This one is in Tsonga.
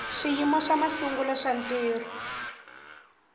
swiyimo swa masungulo swa ntirho